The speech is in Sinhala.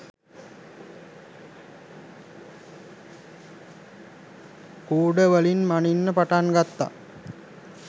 කූඩ වලින් මණින්න පටන්ගත්ත.